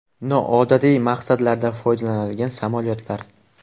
Noodatiy maqsadlarda foydalanilgan samolyotlar.